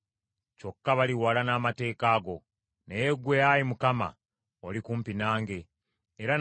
Naye ggwe, Ayi Mukama , oli kumpi nange, era n’amateeka go gonna ga mazima.